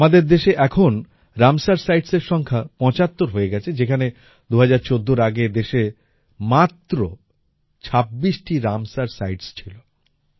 আমাদের দেশে এখন রামসার সাইটসের সংখ্যা ৭৫ হয়ে গেছে যেখানে ২০১৪র আগে দেশে মাত্র ২৬ টি রামসার সাইটস ছিল